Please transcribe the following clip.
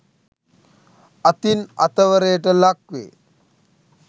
අතින් අතවරයට ලක්වේ.